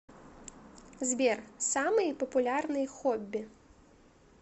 сбер самые популярные хобби